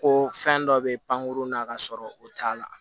Ko fɛn dɔ bɛ pankurun na ka sɔrɔ o t'a la